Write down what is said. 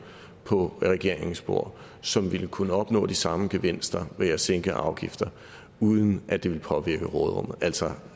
på regeringens bord som ville kunne opnå de samme gevinster ved at sænke afgifter uden at det ville påvirke råderummet altså